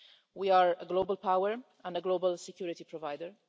We are a global power and a global security provider.